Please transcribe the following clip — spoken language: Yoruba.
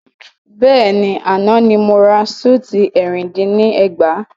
Bẹ́ẹ̀ni, àná ni mo ra súùtì ẹ̀rin dín ní ẹgbàá.